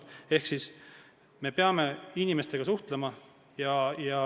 Ehk me peame inimestega suhtlema.